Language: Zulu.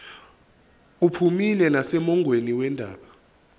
uphumile nasemongweni wendaba